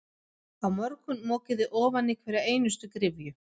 Á morgun mokið þið ofan í hverja einustu gryfju.